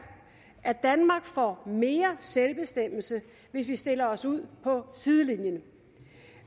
at danmark får mere selvbestemmelse hvis vi stiller os ud på sidelinjen